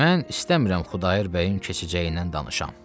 Mən istəmirəm Xudayar bəyim keçəcəyindən danışam.